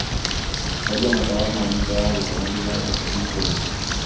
horia matawa ma nyũmba ya gũkoma thutha wa sekondi ikũmi